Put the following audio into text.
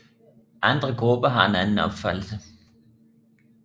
Andre grupper har en anden opfattelse